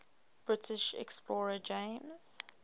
british explorer james